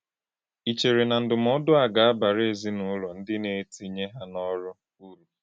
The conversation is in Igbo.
Ì chèrè na ndụ́mòdù a gà-ábàrà èzìnúlò ndí na-ètìnyè hà n’ọ́rụ́ ùrù?